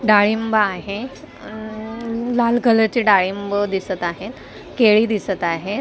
डाळिंब आहे अअअ लाल कलरचे डाळिंब दिसत आहेत केळी दिसत आहेत.